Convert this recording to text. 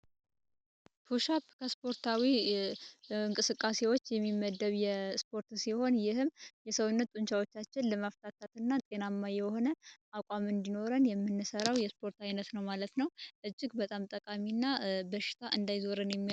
ፑሽ አፕ ስፖርታዊ እንቅስቃሴዎች የሚመደብ የስፖርት ሲሆን ይህም የሰውነት ጥንታችን ለመፍታትና ጤናማ የሆነ አቋም እንዲኖረን የምንሰራው የስፖርት አይነት ነው። ማለት ነው እጅግ በጣም በሽታ እንዳይዞርን የሚያደርግ ነው።